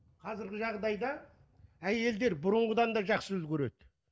қазіргі жағдайда әйелдер бұрынғыдан да жақсы үлгереді